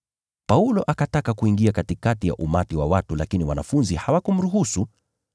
Paulo akataka kuingia katikati ya umati huo, lakini wanafunzi hawakumruhusu.